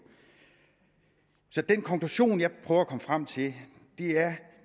så den konklusion jeg prøver at komme frem til er at